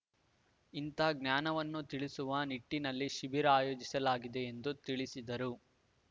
ಇಂಥ ಜ್ಞಾನವನ್ನು ತಿಳಿಸುವ ನಿಟ್ಟಿನಲ್ಲಿ ಶಿಬಿರ ಆಯೋಜಿಸಲಾಗಿದೆ ಎಂದು ತಿಳಿಸಿದರು